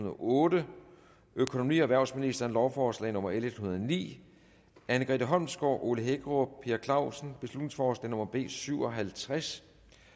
og otte økonomi og erhvervsministeren lovforslag nummer l en hundrede og ni anne grete holmsgaard ole hækkerup per clausen beslutningsforslag nummer b syv og halvtreds